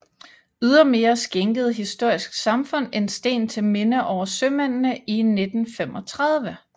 Ydermere skænkede Historisk Samfund en sten til minde over sømændene i 1935